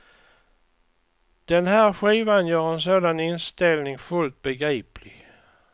Den här skivan gör en sådan inställning fullt begriplig.